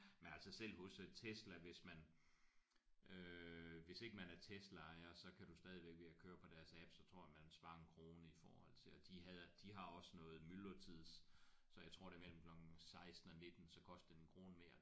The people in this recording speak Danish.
Men altså selv hos øh Tesla hvis man øh hvis ikke man er Tesla ejer så kan du stadigvæk ved at køre på deres app så tror jeg man sparer en krone i forhold til og de havde de har også noget myldretids så jeg tror det er mellem klokken 16 og 19 så koster det en krone mere